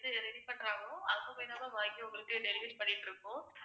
அங்க போயி தான் ma'am வாங்கி உங்களுக்கு delivery பண்ணிட்டிருக்கோம்.